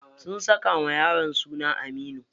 Sun saka wa yaron suna Aminu.